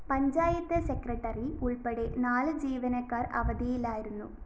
panchayat secretary ഉള്‍പ്പടെ നാല് ജീവനക്കാര്‍ അവധിയിലായിരുന്നു